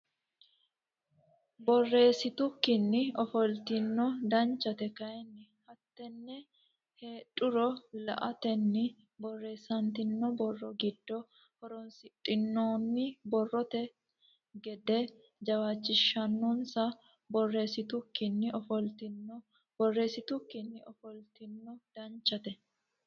Borreessitukkinni ofoltino Danchate kayinni hattenne heedhuro la atenni borreessitanno borro giddo horoonsidhinoonni borrote gede jawaachishinisa Borreessitukkinni ofoltino Borreessitukkinni ofoltino Danchate.